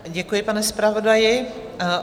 Děkuji, pane zpravodaji.